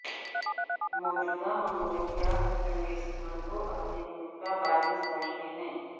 موجودہ منگولیائی چنگیز خان کو اپنے ملک کا بانی سمجھتے ہیں